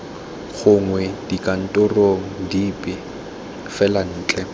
gongwe dikantorong dipe fela ntle